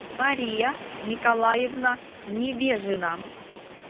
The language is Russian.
мария николаевна невежина